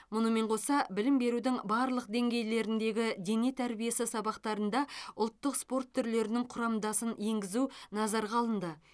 мұнымен қоса білім берудің барлық деңгейлеріндегі дене тәрбиесі сабақтарында ұлттық спорт түрлерінің құрамдасын енгізу назарға алынды